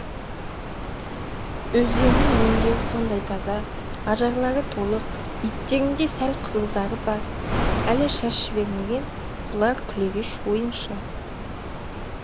өздерінің өңдері сондай таза ажарлары толық беттерінде сәл қызылдары бар әлі шаш жібермеген бұлар күлегеш ойыншы